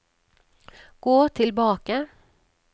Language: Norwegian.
gå tilbake